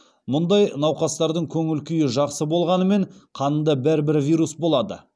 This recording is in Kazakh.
мұндай науқастардың көңіл күй жақсы болғанымен қанында бәрібір вирус болады